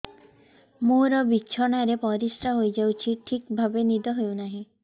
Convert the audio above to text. ମୋର ବିଛଣାରେ ପରିସ୍ରା ହେଇଯାଉଛି ଠିକ ଭାବେ ନିଦ ହଉ ନାହିଁ